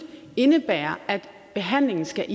indebærer at behandlingen skal